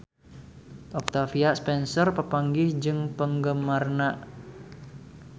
Octavia Spencer papanggih jeung penggemarna